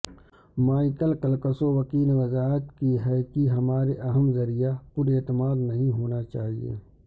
Michael کلکسوووکی نے وضاحت کی ہے کہ ہمارے اہم ذریعہ پر اعتماد نہیں ہونا چاہئے